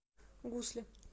гусли